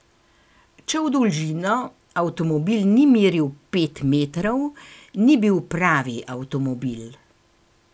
Če v dolžino avtomobil ni meril pet metrov, ni bil pravi avtomobil.